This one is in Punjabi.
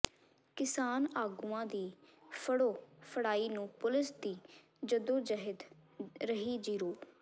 ਕਿਸਾਨ ਆਗੂਆਂ ਦੀ ਫੜੋ ਫੜਾਈ ਨੂੰ ਪੁਲਿਸ ਦੀ ਜੱਦੋਜਹਿਦ ਰਹੀ ਜ਼ੀਰੋ